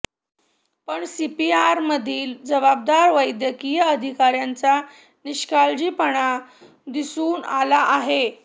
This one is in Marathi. पण सीपीआरमधील जबाबदार वैद्यकीय अधिकाऱ्यांचा निष्काळजी पणा दिसून आला आहे